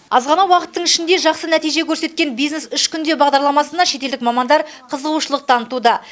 аз ғана уақыттың ішінде жақсы нәтиже көрсеткен бизнес үш күнде бағдарламасына шетелдік мамандар қызығушылық танытуда